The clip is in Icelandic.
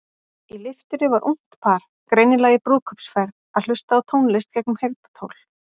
Í lyftunni var ungt par, greinilega í brúðkaupsferð, að hlusta á tónlist gegnum heyrnartól.